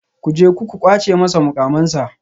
Ku je ku kwace masa mukamansa